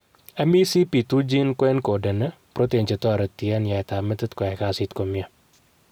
MECP2 gene ko encodeni, protein che toreti en yaet ap metit koyai kasit komie.